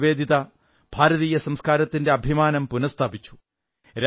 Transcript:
ഭഗിനി നിവേദിത ഭാരതീയ സംസ്കാരത്തിന്റെ അഭിമാനം പുനഃസ്ഥാപിച്ചു